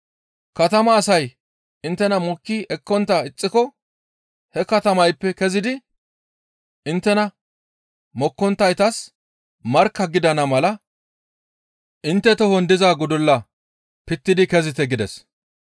Katamaa asay inttena mokki ekkontta ixxiko he katamayppe kezidi inttena mokkonttaytas markka gidana mala intte tohon diza gudulla pittidi kezite» gides.